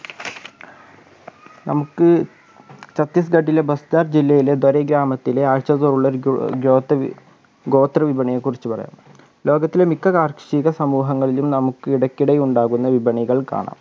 നമുക്ക് ഛത്തീസ്ഗഢിലെ ബസ്റ്റാർ ജില്ലയിലെ ധരി ഗ്രാമത്തിലെ ആഴ്ച തോറുമുള്ള ഗോ ഗോത്രവി ഗോത്രവിപണിയെക്കുറിച്ച് പറയാം ലോകത്തിലെ മിക്ക കാർഷിക സമൂഹങ്ങളിലും നമുക്ക് ഇടക്കിടെ ഉണ്ടാകുന്ന വിപണികൾ കാണാം